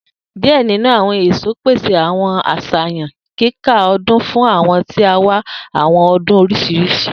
Die ninu awọn eso pese awọn aṣayan yika ọdun fun awọn ti n wa awọn adun oriṣiriṣi